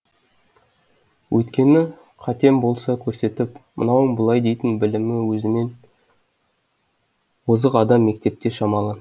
өйткені қатем болса көрсетіп мынауың былай дейтін білімі өзімнен озық адам мектепте шамалы